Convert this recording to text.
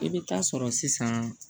I bɛ taa sɔrɔ sisan